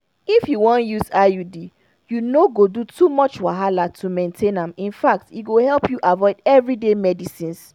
if you wan use iud you no go do too much wahala to maintain am infact e go help you avoid everyday medicines